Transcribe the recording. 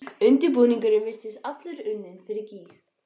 Undirbúningurinn virtist allur unninn fyrir gýg.